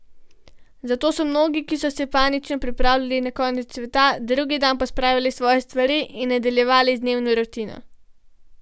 Zato so mnogi, ki so se panično pripravljali na konec sveta, drugi dan pospravili svoje stvari in nadaljevali z dnevno rutino.